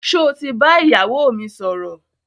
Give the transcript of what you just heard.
Sọ ti bá ìyàwó mi sọ̀rọ̀?